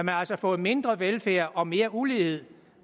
har altså fået mindre velfærd og mere ulighed